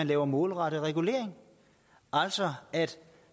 lave målrettet regulering altså at